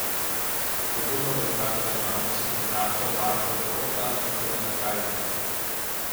Podobno velja za državno sekretarko Barbro Borota in Toneta Kajzerja.